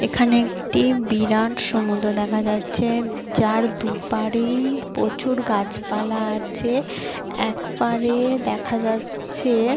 এখানে একটি বিরাট সমুদ্র দেখা যাচ্ছে যার দুপারি প্রচুর গাছপালা আছে একবারে দেখা যাচ্ছে--